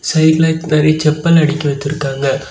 சைடுல நெறைய செப்பல் அடக்கி வைத்துருக்காங்க.